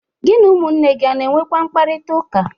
Gi na ụmụnne gi ọ na-enwekwa mkparịtaụka?